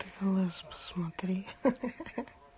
ты в лс посмотри ха-ха-ха-ха